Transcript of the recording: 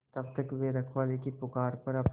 तब तक वे रखवाले की पुकार पर अपनी